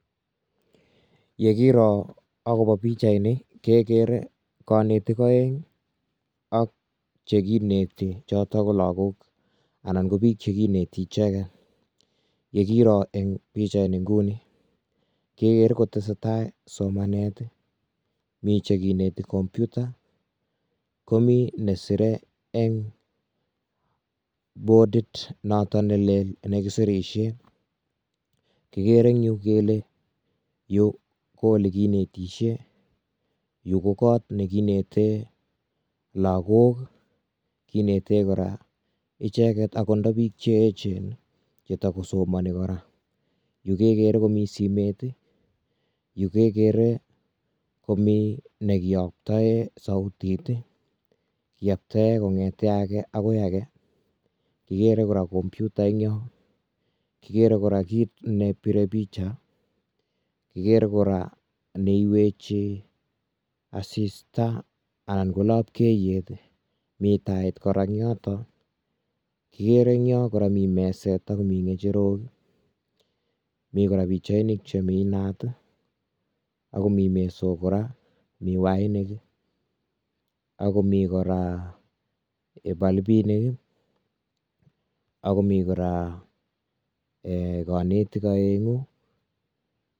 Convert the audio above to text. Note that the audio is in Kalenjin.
Ye kiro akobo pichaini kegere konetik oeng ak che kineti choto ko lakok anan ko biik che kineti icheke. Ye kiro eng pichaini nguni ke ger ko tese tai somanet. mi che kineti computer ko mi ne sirei eng bodit noto ne lel eng yu serishe, kigere eng yu kele yu ko ole kinetishe, yu ko koot ne kinete lakok. Kinete kora icheket ako nda ko biik che echen che takosomani kora. Yu ke gere ko mi simet, yu ke gere komi ne kiyoptoe sautit, yoptoe kong'ete age agoi age. Igere kora computer eng yo. Kigere kora kiit ne bire picha, kigere kora neiwechi asista ana ko lapkeyet, mi tait kora eng yoto. kigere eng yoto kole mi meset, ak mi ng'echeroik, mi kora pichainik chemi naat akomi mesok kora, mi wainik, akomi kora balbinik, akomi kora um konetik oeng'u.